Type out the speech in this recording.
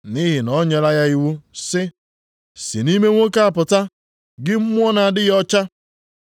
Nʼihi na o nyela ya iwu sị, “Si nʼime nwoke a pụta, gị mmụọ na-adịghị ọcha!”